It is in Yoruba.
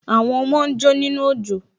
Àwọn ọmọ ń jó nínú òjò